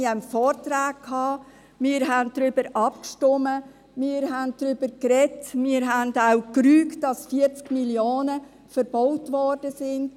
Wir hatten Vorträge, wir stimmten ab, wir sprachen darüber und rügten auch, dass beim Umbau 40 Mio. Franken verbaut worden waren.